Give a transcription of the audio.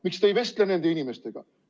Miks te ei vestle nende inimestega?